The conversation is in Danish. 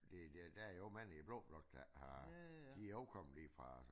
Det det der jo ikke mange i blå blok der har de jo også kommet lige fra